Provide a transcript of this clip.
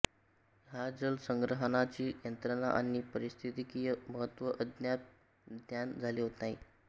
या जल संग्रहणाची यंत्रणा आणि पारिस्थितिकीय महत्त्व अद्याप ज्ञात झाले नाही